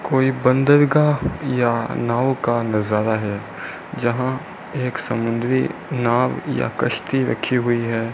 कोई बंदरगाह या नाव का नजारा है जहां एक समुद्री नाव या कश्ति रखी हुई है।